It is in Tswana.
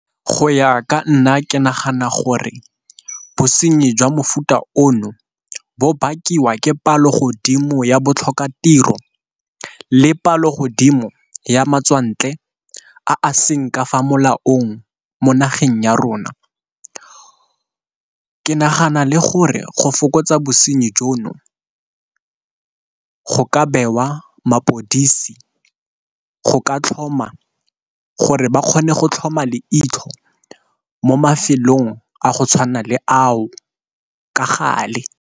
Go ya ka nna ke nagana gore bosenyi jwa mofuta ono bo bakiwa ke palo godimo ya botlhokatiro le palo godimo ya matswantle a seng ka fa molaong mo nageng ya rona. Ke nagana gore go fokotsa bosenyi jono go ka bewa mapodisi go ka tlhoma, gore ba kgone go tlhoma le itlhopa mo mafelong a go tshwana le ao ka gale.